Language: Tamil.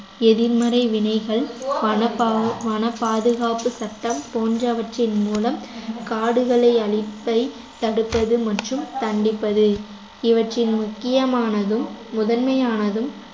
எதிர்மறை வினைகள் வன பாவு~ பாதுகாப்பு சட்டம் போன்றவற்றின் மூலம் காடுகளை அழிப்பை தடுப்பது மற்றும் தண்டிப்பது இவற்றின் முக்கியமானதும் முதன்மையானதும்